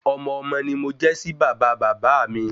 Ọmọ-ọmọ ni mo jẹ́ sí bàbá bàbá áà mi